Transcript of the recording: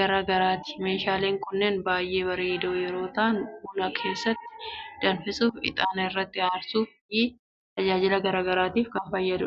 garaa graati. Meeshaaleen kunneen baay'ee bareedoo yeroo ta'an, buna keessatti danfisuuf, ixaana irratti aarsuuf fi tajaajila garaa garaa biroof oolu.